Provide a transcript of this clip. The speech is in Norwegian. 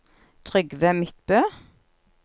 Trygve Midtbø